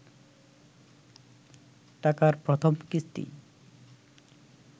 টাকার প্রথম কিস্তি